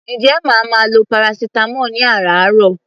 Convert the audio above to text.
Ǹjẹ́ màá máa lo paracetamol ní àràáàrọ̀?